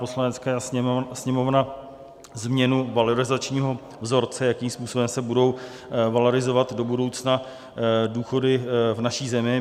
Poslanecká sněmovna změnu valorizačního vzorce, jakým způsobem se budou valorizovat do budoucna důchody v naší zemi.